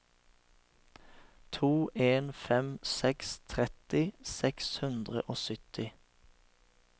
to en fem seks tretti seks hundre og sytti